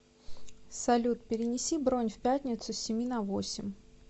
салют перенеси бронь в пятницу с семи на восемь